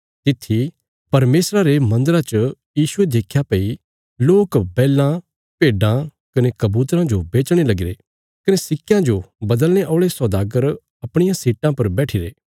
तित्थी परमेशरा रे मन्दरा च यीशुये देख्या भई लोक बैलां भेड्डां कने कबूतरां जो बेचणे लगीरे कने सिक्कयां जो बदलने औल़े सौदागर अपणियां सीटां पर बैठिरे